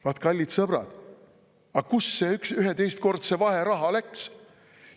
Vaat, kallid sõbrad, aga kuhu see 11-kordse vaheraha läks?